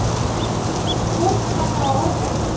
Hann tók hana á orðinu.